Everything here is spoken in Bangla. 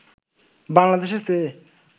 বাংলাদেশের চেয়ে